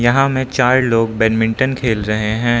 यहां में चार लोग बैडमिंटन खेल रहे है।